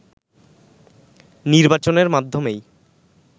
নির্বাচনের মাধ্যমেই